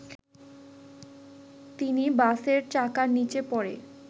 তিনি বাসের চাকার নিচে পড়ে